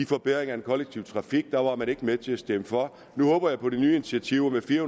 forbedringer af den kollektive trafik der var man ikke med til at stemme for nu håber jeg på med det nye initiativ med fire